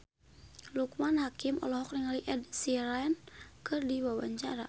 Loekman Hakim olohok ningali Ed Sheeran keur diwawancara